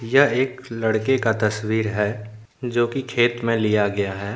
यह एक लड़के का तस्वीर है जोकि खेत मे लिया गया है।